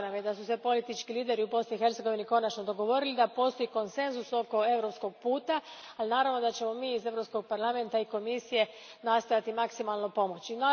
Drago nam je da su se politički lideri u Bosni i Hercegovini konačno dogovorili, da postoji konsenzus oko europskog puta, ali naravno da ćemo mi iz Europskog parlamenta i Komisije nastojati maksimalno pomoći.